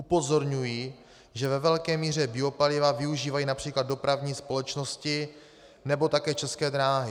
Upozorňuji, že ve velké míře biopaliva využívají například dopravní společnosti nebo také České dráhy.